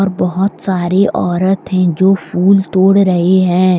और बहुत सारी औरत है जो फूल तोड़ रहे है।